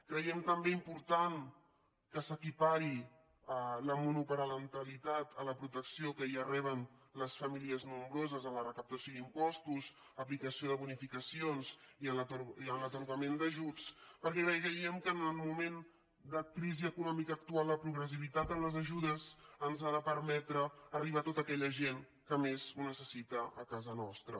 creiem també important que s’equipari la monopa·rentalitat a la protecció que ja reben les famílies nom·broses en la recaptació d’impostos en l’aplicació de bonificacions i en l’atorgament d’ajuts perquè creiem que en el moment de crisi econòmica actual la pro·gressivitat en les ajudes ens ha de permetre arribar a tota aquella gent que més ho necessita a casa nostra